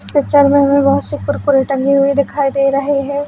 इस पिक्चर में हमे बहोत सी कुरकुरे टंगी हुई दिखाई दे रही है।